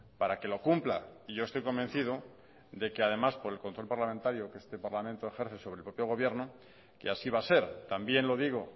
para que lo cumpla y yo estoy convencido de que además por el control parlamentario que este parlamento ejerce sobre el propio gobierno que así va a ser también lo digo